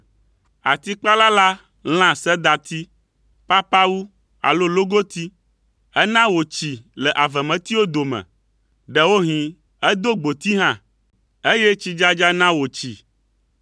Atikpala la lã sedati, papawu alo logoti. Ena wòtsi le avemetiwo dome. Ɖewohĩ edo gboti hã, eye tsidzadza na wòtsi.